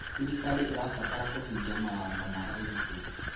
Thirikari ĩrabatara kũhingia mawatho ma ũgitĩri.